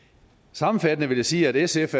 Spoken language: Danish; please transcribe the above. sammenfattende vil jeg sige at sf